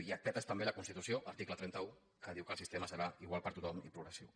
i et petes també la constitució article trenta un que diu que el sistema serà igual per a tothom i progressiu